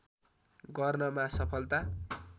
गर्नमा सफलता